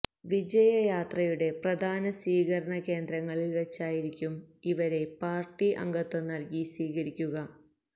വിജയ യാത്രയുടെ പ്രധാന സ്വീകരണ കേന്ദ്രങ്ങളില് വെച്ചായിരിക്കും ഇവരെ പാര്ട്ടി അംഗത്വം നല്കി സ്വീകരിക്കുക